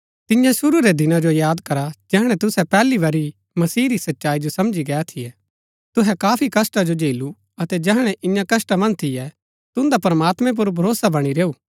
तियां शुरू रै दिना जो याद करा जैहणै तुसै पैहली बरी ही मसीह री सच्चाई जो समझी गै थियै तुहै काफी कष्‍टा जो झेलू अतै जैहणै इन्या कष्‍टा मन्ज थियै तुन्दा प्रमात्मैं पुर भरोसा बणी रैऊ